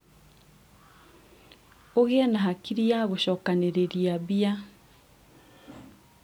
ũgĩe na hakiri ya gũcokanĩrĩria mbia